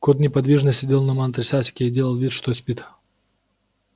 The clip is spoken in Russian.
кот неподвижно сидел на матрасике и делал вид что спит